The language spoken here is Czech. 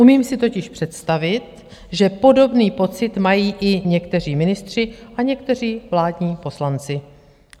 Umím si totiž představit, že podobný pocit mají i někteří ministři a někteří vládní poslanci.